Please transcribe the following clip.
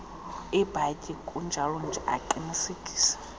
ibhatyi kunjalonje aqinisekise